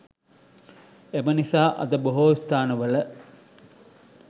එම නිසා අද බොහෝ ස්ථානවල